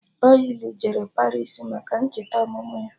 Oly jere Paris maka ncheta ọmụmụ ya